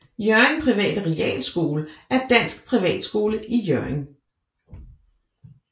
Hjørring Private Realskole er dansk privatskole i Hjørring